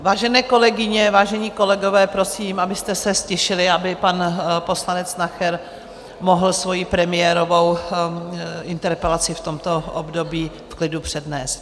Vážené kolegyně, vážení kolegové, prosím, abyste se ztišili, aby pan poslanec Nacher mohl svoji premiérovou interpelaci v tomto období v klidu přednést.